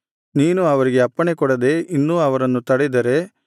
ನೀನು ಅವರಿಗೆ ಅಪ್ಪಣೆ ಕೊಡದೆ ಇನ್ನೂ ಅವರನ್ನು ತಡೆದರೆ